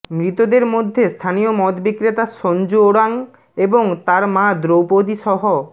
মৃতদের মধ্যে স্থানীয় মদ বিক্রেতা সঞ্জু ওরাং এবং তার মা দৌপদীসহ